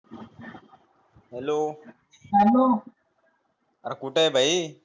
hello कुठं हे भाई